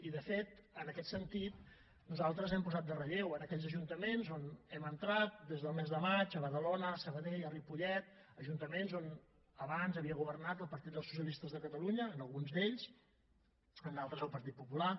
i de fet en aquest sentit nosaltres hem posat en relleu en aquells ajuntaments on hem entrat des del mes de maig a badalona a sabadell a ripollet ajuntaments on abans havia governat el partit dels socialistes de catalunya en alguns d’ells en d’altres el partit popular